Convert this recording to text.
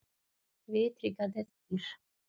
Vitringarnir þrír.